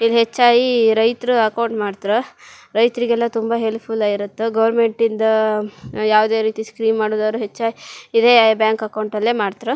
ಇಲ್ಲಿ ಹೆಚ್ಚಾಯೀ ರೈತ್ರು ಅಕೌಂಟ್ ಮಾಡ್ತರ ರೈತ್ರಿಗೆಲ್ಲಾ ತುಂಬಾ ಹೆಲ್ಪ್ ಫುಲ್ ಆಗಿರುತ್ ಗೌರ್ಮೆಂಟಿಂದ ಯಾವ್ದೇ ರೀತಿ ಸ್ಕೀಮ್ ಮಾಡೊದಾರು ಹೆಚ್ಚೆ ಇದೇ ಬ್ಯಾಂಕ್ ಅಕೌಂಟ್ ಅಲ್ಲೆ ಮಾಡ್ತ್ರು.